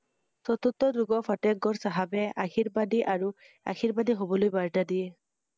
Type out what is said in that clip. যুগৰ ফাটেহ গড় চাহাবে আশীৰ্বাদী আৰু আশীৰ্বাদী হ‘বলৈ বাৰ্তা দিয়ে ৷